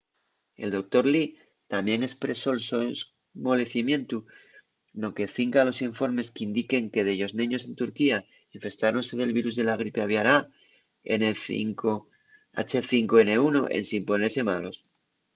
el doctor lee tamién espresó’l so esmolecimientu no que cinca a los informes qu’indiquen que dellos neños en turquía infestáronse del virus de la gripe aviar a h5n1 ensin ponese malos